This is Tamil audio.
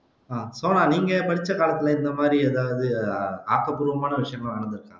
அஹ் சோனா நீங்க படிச்ச காலத்துல இந்த மாதிரி எதாவது ஆக்கப்பூர்வமான விஷயம்லாம் நடந்துருக்கா